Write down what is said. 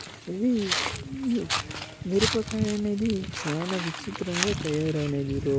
ఇది మిరపకాయ అనేది చాలా విచిత్రంగా తయారైనది.